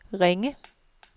Ringe